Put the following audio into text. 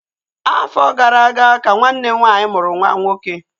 Afọ gara aga ka nwanne m nwaanyị mụrụ nwa nwoke